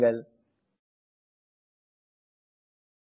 ஸ்லைடுகளுக்கு செல்வோம்